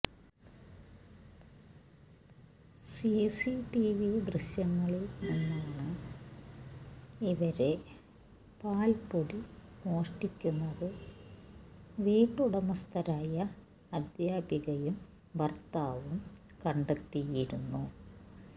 CCTV ദൃശ്യങ്ങളില് നിന്നാണ് ഇവര് പാല്പ്പൊടി മോഷ്ടിക്കുന്നത് വീട്ടുടമസ്ഥരായ അധ്യാപികയും ഭര്ത്താവും കണ്ടെത്തിയിരുന്നു